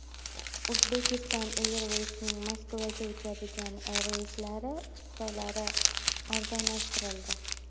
Uzbekistan Airways’ning Moskvaga uchadigan reyslari chiptalari arzonlashtirildi.